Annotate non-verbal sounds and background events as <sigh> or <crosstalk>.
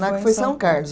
<unintelligible> foi São Carlos.